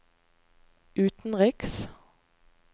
utenriks